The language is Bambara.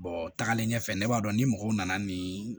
tagalen ɲɛfɛ ne b'a dɔn ni mɔgɔw nana nin